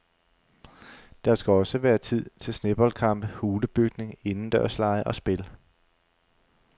Der skal også være tid til sneboldkampe, hulebygning, indendørslege og spil.